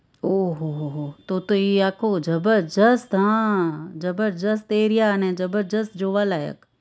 ઓહ્હો તો તો ઈ આખું જબરજસ્ત હા જબરજસ્ત એરીયા અને જબરજસ્ત જોવાલાયક